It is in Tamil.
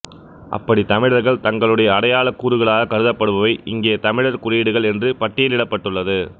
அப்படித் தமிழர்கள் தங்களுடைய அடையளக்கூறுகளாகக் கருதப்படுவவை இங்கே தமிழர் குறியீடுகள் என்று பட்டியலிடப்பட்டுள்ளது